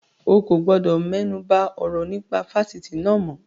O kò gbọdọ̀ mẹ́nuba ọ̀rọ̀ nípa Fásitì náà mọ́.